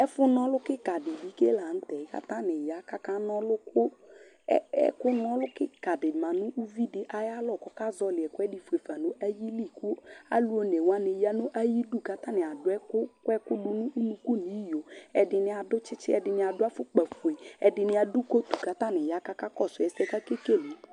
ɛƒʋ nɔlʋ kikaa di lantɛ kʋ atani ya kʋ aka nɔlʋ kʋ, ɛkʋ nɔlʋ kikaa di manʋ ʋvidi ayi alɔ kʋ ɔka zɔli ɛkʋɛdi ƒʋɛƒa nʋ ayili kʋ alʋ ɔnɛ wani yanʋ ayidʋ kʋ atani adʋ ɛkʋ kɔ ɛkʋ nʋ ʋnʋkʋ nʋ iyɔ, ɛdini adʋ tsitsi ɛdini adʋ aƒʋkpa ƒʋɛlɛ ɛdini adʋ coat kʋ atani ya kʋ akakɔsʋ ɛsɛ kʋ akɛ kɛlɛ